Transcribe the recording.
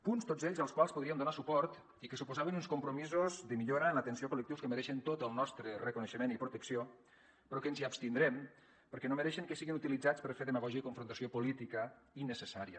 punts tots ells als quals podríem donar suport i que suposaven uns compromisos de millora en l’atenció a col·lectius que mereixen tot el nostre reconeixement i protecció però que ens hi abstindrem perquè no mereixen que siguin utilitzats per fer demagògia i confrontació política innecessària